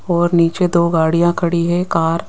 और नीचे दो गाड़ियां खड़ी है कार --